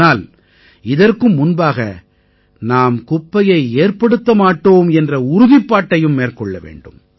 ஆனால் இதற்கும் முன்பாக நாம் குப்பையை ஏற்படுத்த மாட்டோம் என்ற உறுதிப்பாட்டையும் மேற்கொள்ள வேண்டும்